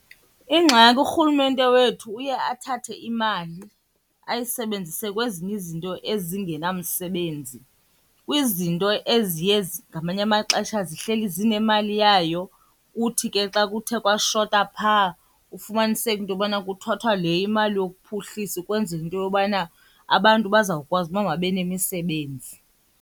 Ingxaki urhulumente wethu uye athathe imali ayisebenzise kwezinye izinto ezingenamsebenzi. Kwizinto eziye ngamanye amaxesha zihleli zinemali yayo kuthi ke xa kuthe kwashota phaa, ufumaniseke into yobana kuthathwa le imali yokuphuhlisa ukwenzela into yobana abantu bazawukwazi uba mababe nemisebenzi.